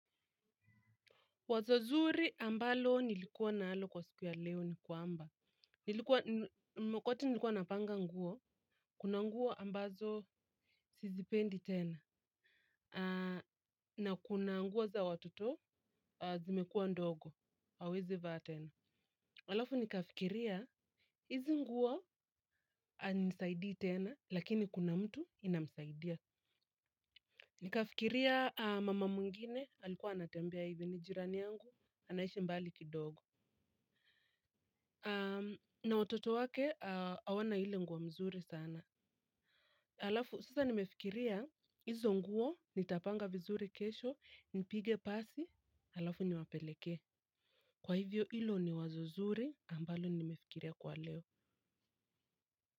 Wazo zuri ambalo nilikuwa nalo kwa siku ya leo ni kwamba. Wakati nilikuwa napanga nguo. Kuna nguo ambazo sizipendi tena. Ahh. Na kuna nguo za watoto zimekuwa ndogo. Hawezi vaa tena. Halafu nikafikiria hizi nguo hainisaidii tena lakini kuna mtu inamsaidia. Nikafikiria mama mwingine alikuwa anatembea hivi ni jirani yangu. Anaishi mbali kidogo. Na watoto wake hawana ile nguo mzuri sana alafu sasa nimefikiria hizo nguo nitapanga vizuri kesho nipige pasi alafu niwapelekee kwa hivyo hilo ni wazo zuri ambalo nimefikiria kwa leo.